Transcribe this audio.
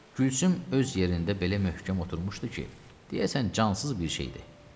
Gülsüm öz yerində belə möhkəm oturmuşdu ki, deyəsən cansız bir şeydi.